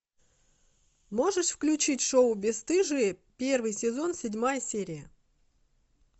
можешь включить шоу бесстыжие первый сезон седьмая серия